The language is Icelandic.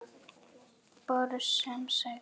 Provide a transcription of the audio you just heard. Bros sem sagði